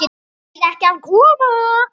Eruð þið ekki að koma?